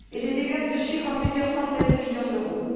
Les dégâts se chiffrent à plusieurs centaines de millions d'euros.